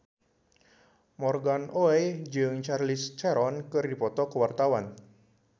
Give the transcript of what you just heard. Morgan Oey jeung Charlize Theron keur dipoto ku wartawan